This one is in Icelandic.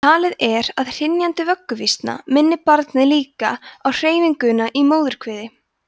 talið er að hrynjandi vögguvísna minni barnið líka á hreyfinguna í móðurkviði